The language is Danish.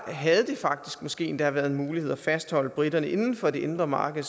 havde det faktisk måske endda været muligt at fastholde briterne inden for det indre marked